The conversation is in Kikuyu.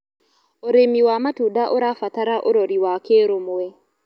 Ũrĩmĩ wa matũnda ũrabatara ũrorĩ wa kĩrũmwe